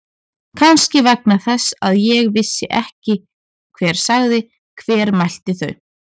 Kannski vegna þess að ég vissi ekki hver sagði. hver mælti þau.